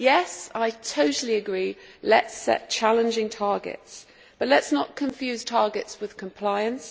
Yes, I totally agree let us set challenging targets, but let us not confuse targets with compliance.